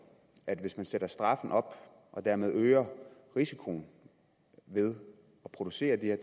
at hvis man sætter straffen op og dermed øger risikoen ved at producere